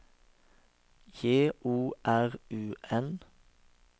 J O R U N